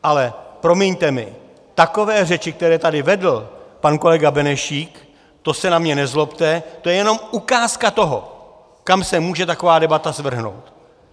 Ale promiňte mi, takové řeči, které tady vedl pan kolega Benešík, to se na mě nezlobte, to je jenom ukázka toho, kam se může taková debata svrhnout.